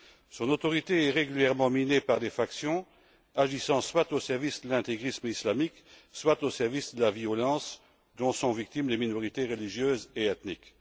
Son autorité est régulièrement minée par des factions agissant soit au service de l'intégrisme islamique, soit au service de la violence dont sont victimes les minorités religieuses et ethniques.